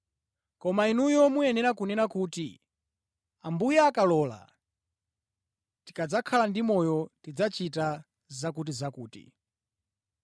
Koma inuyo muyenera kunena kuti, “Ambuye akalola, tikadzakhala ndi moyo, tidzachita zakutizakuti.”